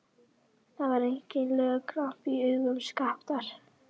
Það var einkennilegur glampi í augum Skapta.